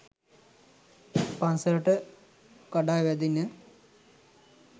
පන්සලට කඩා වැදින.